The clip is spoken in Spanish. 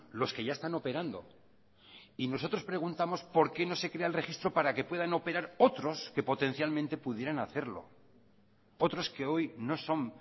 los que ya están operando y nosotros preguntamos por qué no se crea el registro para que puedan operar otros que potencialmente pudieran hacerlo otros que hoy no son